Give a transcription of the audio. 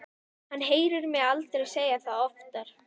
Hann heyrir mig aldrei segja það oftar.